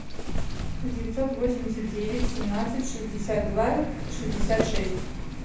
девятьсот восемьдесят девять семнадцать шестьдесят два шестьдесят шесть